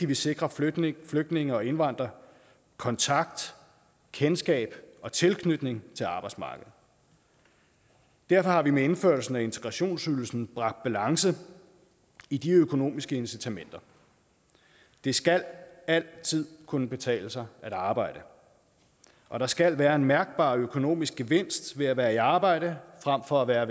vi sikrer flygtninge flygtninge og indvandrere kontakt kendskab og tilknytning til arbejdsmarkedet derfor har vi med indførelsen af integrationsydelsen bragt balance i de økonomiske incitamenter det skal altid kunne betale sig at arbejde og der skal være en mærkbar økonomisk gevinst ved at være i arbejde frem for at være